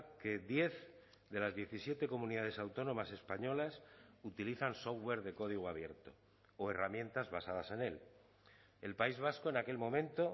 que diez de las diecisiete comunidades autónomas españolas utilizan software de código abierto o herramientas basadas en él el país vasco en aquel momento